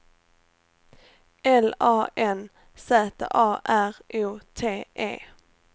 L A N Z A R O T E